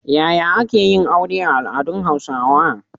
Yaya ake yin aure a al’adun Hausawa?